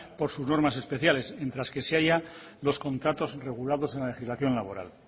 por sus normas especiales mientras que se halla los contratos regulados en la legislación laboral